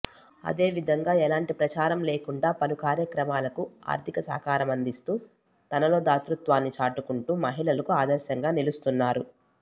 అదేవిధంగా ఎలాంటి ప్రచారం లేకుండా పలు కార్యక్రమాలకు ఆర్ధిక సహకారం అందిస్తూ తనలో ధాతృత్వాన్ని చాటుకుంటు మహిళలకు ఆదర్శంగా నిలుస్తున్నారు